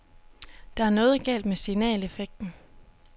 Der er noget galt med signaleffekten.